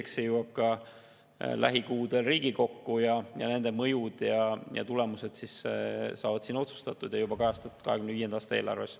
Eks see jõuab lähikuudel ka Riigikokku, selle mõjud ja tulemused otsustatakse siin ja neid kajastatakse juba 2025. aasta eelarves.